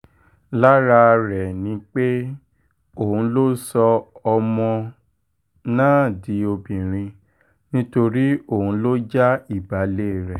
lára rẹ̀ ni pé òun ló sọ ọmọ náà di obìnrin nítorí òun ló já ìbàlẹ̀ rẹ̀